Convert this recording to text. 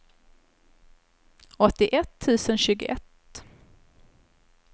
åttioett tusen tjugoett